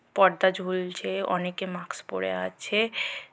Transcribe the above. পর্দা ঝুলছে। অনেকে মাক্স পরে আছে-এ।